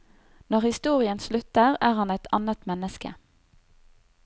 Når historien slutter, er han et annet menneske.